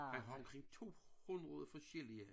Han har omrking 200 forskellige